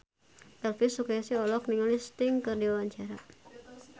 Elvy Sukaesih olohok ningali Sting keur diwawancara